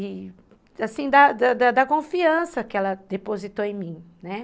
E, assim, da da confiança que ela depositou em mim, né?